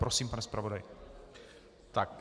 Prosím, pane zpravodaji.